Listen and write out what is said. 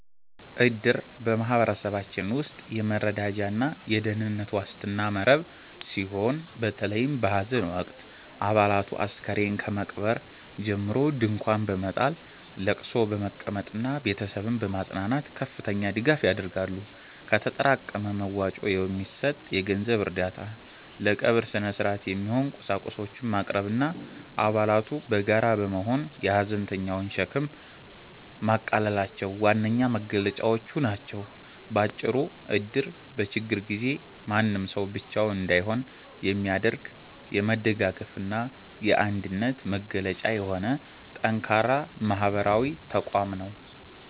እድር በማኅበረሰባችን ውስጥ የመረዳጃና የደኅንነት ዋስትና መረብ ሲሆን፤ በተለይም በሐዘን ወቅት አባላቱ አስከሬን ከመቅበር ጀምሮ ድንኳን በመጣል፣ ለቅሶ በመቀመጥና ቤተሰብን በማጽናናት ከፍተኛ ድጋፍ ያደርጋሉ። ከተጠራቀመ መዋጮ የሚሰጥ የገንዘብ እርዳታ፣ ለቀብር ሥነ-ሥርዓት የሚሆኑ ቁሳቁሶችን ማቅረብና አባላቱ በጋራ በመሆን የሐዘንተኛውን ሸክም ማቃለላቸው ዋነኛ መገለጫዎቹ ናቸው። ባጭሩ እድር በችግር ጊዜ ማንም ሰው ብቻውን እንዳይሆን የሚያደርግ፣ የመደጋገፍና የአንድነት መገለጫ የሆነ ጠንካራ ማኅበራዊ ተቋም ነው።